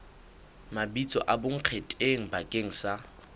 mabitso a bonkgetheng bakeng sa